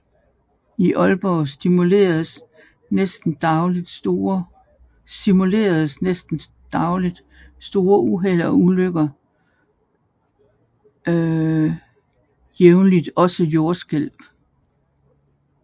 I Atleborg simuleres næsten dagligt større uheld og ulykker og jævnligt også jordskælv